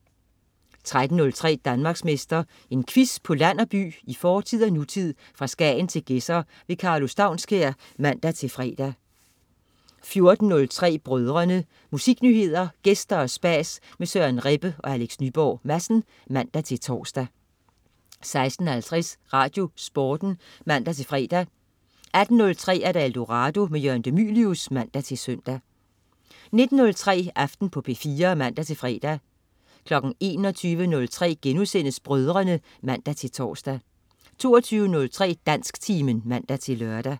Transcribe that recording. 13.03 Danmarksmester. En quiz på land og by, i fortid og nutid, fra Skagen til Gedser. Karlo Staunskær (man-fre) 14.03 Brødrene. Musiknyheder, gæster og spas med Søren Rebbe og Alex Nyborg Madsen (man-tors) 16.50 RadioSporten (man-fre) 18.03 Eldorado. Jørgen de Mylius (man-søn) 19.03 Aften på P4 (man-fre) 21.03 Brødrene* (man-tors) 22.03 Dansktimen (man-lør)